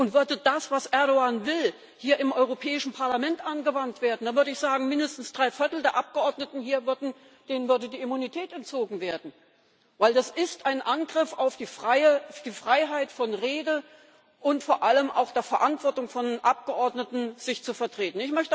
Und würde das, was Erdoğan will, hier im Europäischen Parlament angewandt werden, da würde ich sagen, mindestens drei Viertel der Abgeordneten hier würde die Immunität entzogen werden Denn das ist ein Angriff auf die Freiheit von Rede und vor allem auch die Verantwortung von Abgeordneten, sich zu vertreten.